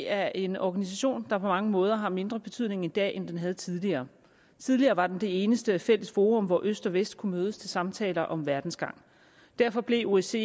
er en organisation der på mange måder har mindre betydning i dag end den havde tidligere tidligere var den det eneste fælles forum hvor øst og vest kunne mødes til samtaler om verdens gang derfor blev osce